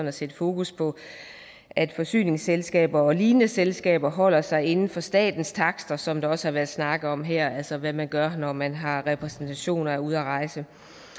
at sætte fokus på at forsyningsselskaber og lignende selskaber holder sig inden for statens takster som der også har været snakket om her altså hvad man gør når man har repræsentation og er ude at rejse